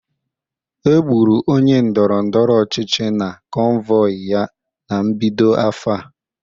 Egburu onye ndọrọ ndọrọ ọchịchị na convoy ya na mbido afọ a